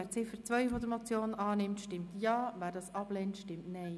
Wer diese als Motion annehmen will, stimmt Ja, wer dies ablehnt, stimmt Nein.